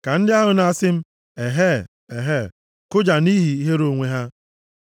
Ka ndị ahụ na-asị m, “Ehee! Ehee!” kụja nʼihi ihere onwe ha.